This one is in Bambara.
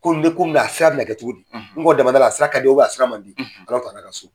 Ko n be ko min na a sira bina kɛ cogo di n gɔ damada la, a sira ka di a sira man di